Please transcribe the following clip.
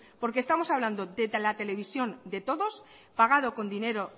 porque estamos hablando de la televisión de todos pagado con dinero